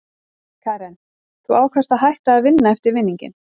Karen: Þú ákvaðst að hætta að vinna eftir vinninginn?